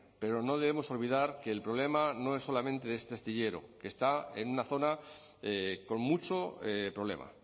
pero no debemos olvidar que el problema no es solamente este astillero que está en una zona con mucho problema